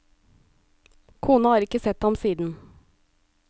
Kona har ikke sett ham siden.